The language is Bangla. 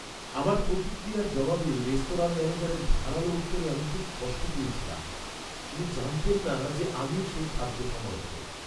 আমার প্রতিক্রিয়ার জবাবে রেস্তোরাঁর ম্যানেজারের ধারালো উত্তরে আমি খুব কষ্ট পেয়েছিলাম। উনি জানতেন না যে আমিই সেই খাদ্য সমালোচক।